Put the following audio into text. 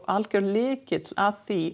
algjör lykill að því